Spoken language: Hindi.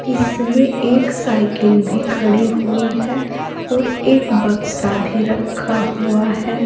इसमें एक साइकिल भी खड़ी हुई है और एक बक्सा भी रखा हुआ है।